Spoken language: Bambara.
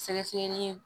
Sɛgɛsɛgɛli